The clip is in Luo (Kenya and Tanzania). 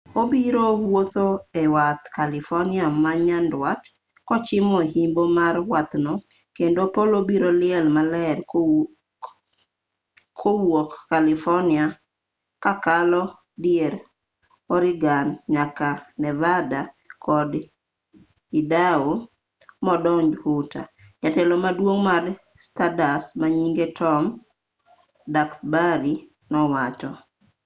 obiro wuotho ewadh california manyandwat kochimo yimbo mar wadhno kendo polo biro liel maler kowuok california kakalo dier oregon nyaka nevada kod idaho modonj utah jatelo maduong' mar stardust manyinge tom duxbury nowacho